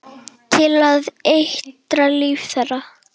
Til að eitra líf þeirra.